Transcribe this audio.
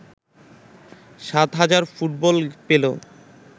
৭ হাজার ফুটবল পেল